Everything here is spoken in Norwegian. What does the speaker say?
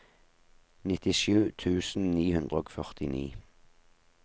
nittisju tusen ni hundre og førtini